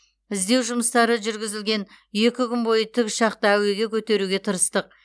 іздеу жұмыстары жүргізілоген екі күн бойы тікұшақты әуеге көтеруге тырыстық